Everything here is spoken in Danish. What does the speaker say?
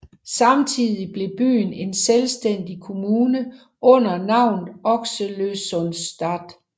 Samtidigt blev byen en selvstændig kommune under navnet Oxelösunds stad